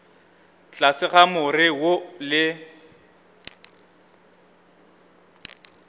tlase ga more wo le